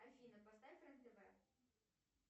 афина поставь рен тв